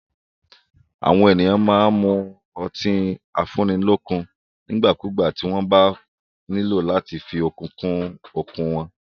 Àwọn èèyàn máa n mu ọtí afúnnilọ́kun nígbàkúgbà tí wọ́n bá nílò láti fí okun kún okun wọn